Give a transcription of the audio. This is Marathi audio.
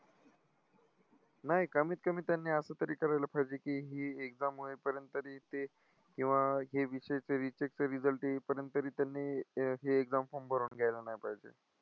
नाही कमीत कमी त्यांनी असं तरी करायला पाहिजे की ही exam होईपर्यंत तरी ते किंवा हे विषयचे recheck चे result येईपर्यंत तरी त्यांनी हे exam form भरून घ्यायला नाही पाहिजे.